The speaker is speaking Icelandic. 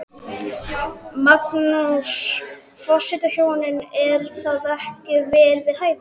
Magnús: Forsetahjónin, er það ekki vel við hæfi?